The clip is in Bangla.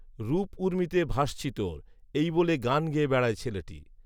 রূপঊর্মিতে ভাসছি তোর। এই বলে গান গেয়ে বেড়ায় ছেলেটি।